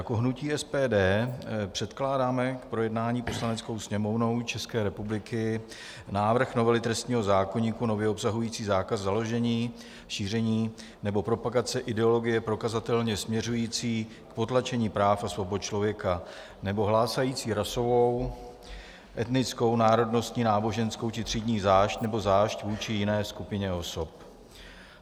Jako hnutí SPD předkládáme k projednání Poslaneckou sněmovnou České republiky návrh novely trestního zákoníku nově obsahující zákaz založení, šíření nebo propagace ideologie prokazatelně směřující k potlačení práv a svobod člověka nebo hlásající rasovou, etnickou, národnostní, náboženskou či třídní zášť nebo zášť vůči jiné skupině osob.